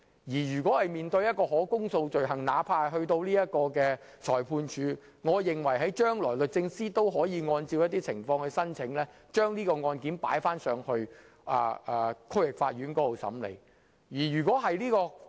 我認為就可公訴罪行而言，即使由裁判法院審理，將來律政司亦可按照情況申請將案件轉交區域法院審理。